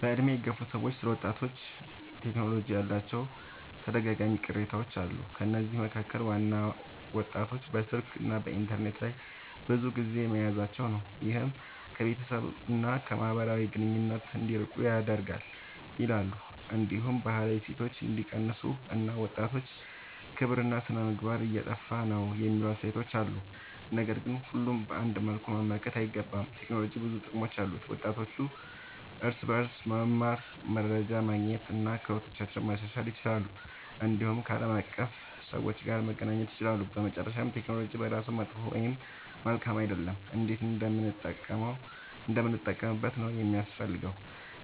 በዕድሜ የገፉ ሰዎች ስለ ወጣቶችና ቴክኖሎጂ ያላቸው ተደጋጋሚ ቅሬታዎች አሉ። ከነዚህ መካከል ዋናው ወጣቶች በስልክና በኢንተርኔት ላይ ብዙ ጊዜ መያዛቸው ነው፤ ይህም ከቤተሰብ እና ከማህበራዊ ግንኙነት እንዲርቁ ያደርጋል ይላሉ። እንዲሁም ባህላዊ እሴቶች እንደሚቀንሱ እና ወጣቶች ክብርና ሥነ-ምግባር እየጠፋ ነው የሚሉ አስተያየቶች አሉ። ነገር ግን ሁሉንም በአንድ መልኩ መመልከት አይገባም። ቴክኖሎጂ ብዙ ጥቅሞች አሉት፤ ወጣቶች በእርሱ መማር፣ መረጃ ማግኘት እና ክህሎታቸውን ማሻሻል ይችላሉ። እንዲሁም ከዓለም አቀፍ ሰዎች ጋር መገናኘት ይችላሉ። በመጨረሻ ቴክኖሎጂ በራሱ መጥፎ ወይም መልካም አይደለም፤ እንዴት እንደምንጠቀምበት ነው የሚያስፈልገው።